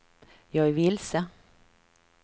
jag är vilse